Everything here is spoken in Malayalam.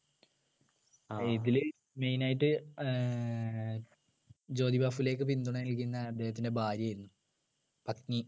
ഇതില് main ആയിട്ട് ഏർ ജോതിബാഹുലേയക്ക് പിന്തുണ നൽകിയിരുന്നെ അദ്ദേഹത്തിൻ്റെ ഭാര്യയായിരുന്നു പത്‌നി